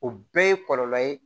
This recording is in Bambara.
O bɛɛ ye kɔlɔlɔ ye